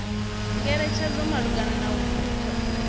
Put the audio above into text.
ngeletshedzo malugana na u thutha